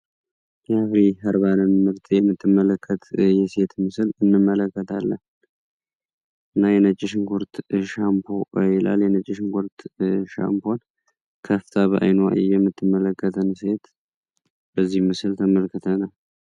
የአፍሪ ህርባን ምርት የምትመለከት የሴት ምስል እንመለከት ለም እና የነጭሽን ሁርት ሻምይላል የነጅሽን ኮርት ሻምፖን ከፍታ በአይኖዋይ የምትመለከትን ሴት በዚህ ምስል ተመልክተ ነው፡፡